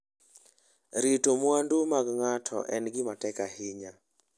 Rito mwandu mag ng'ato en gima tek ahinya.